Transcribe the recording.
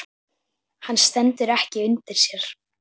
Hann stendur ekki undir sér.